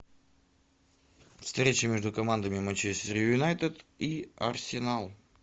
встреча между командами манчестер юнайтед и арсенал